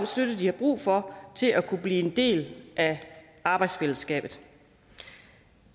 støtte de har brug for til at kunne blive en del af arbejdsfællesskabet